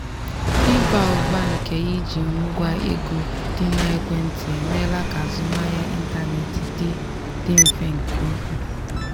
ịba ụba nke iji ngwa ego dị na ekwentị emeela ka azụmahịa ịntanetị dị dị mfe nke ukwuu.